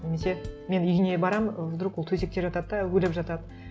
немесе мен үйіне барамын ы вдруг ол төсекте жатады да өліп жатады